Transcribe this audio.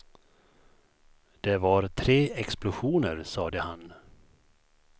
Det var tre explosioner, sade han.